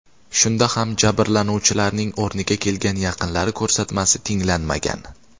Shunda ham jabrlanuvchilarning o‘rniga kelgan yaqinlari ko‘rsatmasi tinglanmagan.